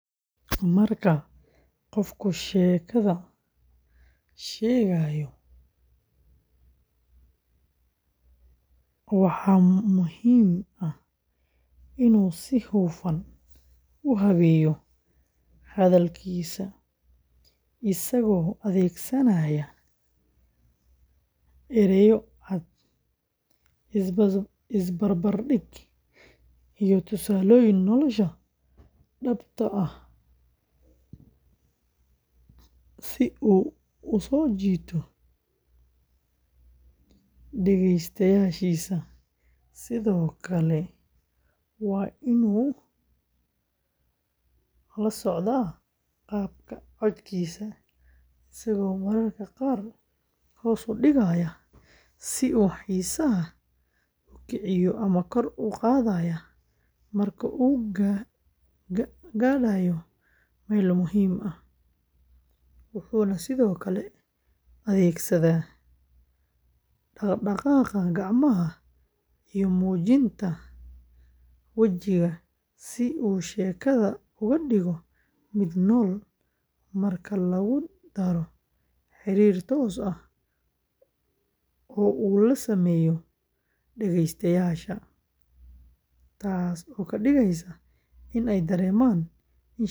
Marka qofku sheekada sheegayo, waxaa muhiim ah inuu si hufan u habeeyo hadalkiisa isagoo adeegsanaaya erayo cad, is barbar dhig, iyo tusaalooyin nolosha dhabta ah ah si uu u soo jiito dhegeystayaashiisa, sidoo kale waa inuu la socdaa qaabka codkiisa, isagoo mararka qaar hoos u dhigaya si uu xiisaha u kiciyo ama kor ugu qaadaya marka uu gaadhayo meelo muhiim ah, wuxuuna sidoo kale adeegsadaa dhaqdhaqaaqa gacmaha iyo muujinta wejiga si uu sheekada uga dhigo mid nool, marka lagu daro xiriir toos ah oo uu la sameeyo dhageystayaasha, taas oo ka dhigaysa in ay dareemaan in sheekadu iyaga lafteeda khuseyso; sidoo kale waa inuu taxaddaraa in sheekadu leedahay bilow xiiso leh.